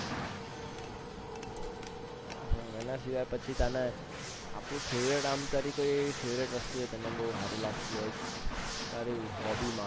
હમ એના સિવાય પછી તને આપણું favorite વસ્તુ હોય તને બૌ હારી લગતી હોય તારી hobby માં